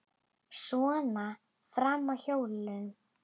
Svona fram að jólum.